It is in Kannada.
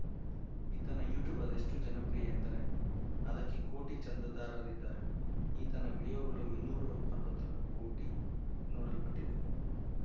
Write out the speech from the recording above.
ಈತನ ಯುಟ್ಯೂಬ್‌ ಅದೆಷ್ಟುಜನಪ್ರಿಯ ಎಂದರೆ ಅದಕ್ಕೆ ಕೋಟಿ ಚಂದಾದಾರರಿದ್ದಾರೆ ಈತನ ವಿಡಿಯೋಗಳು ಇನ್ನೂರು ಅರವತ್ತು ಕೋಟಿ ನೋಡಲ್ಪಟ್ಟಿದೆ